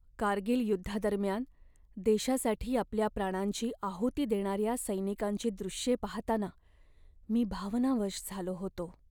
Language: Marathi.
कारगिल युद्धादरम्यान देशासाठी आपल्या प्राणांची आहुती देणाऱ्या सैनिकांची दृश्ये पाहताना मी भावनावश झालो होतो.